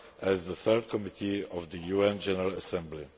as well as at the Third Committee of the UN General Assembly.